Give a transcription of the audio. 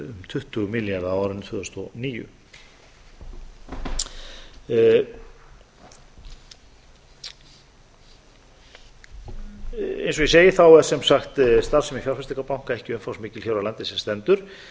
tuttugu milljarða á árinu tvö þúsund og níu eins og ég segi þá er sem sagt starfsemi fjárfestingarbanka ekki umfangsmikil hér á landi sem stendur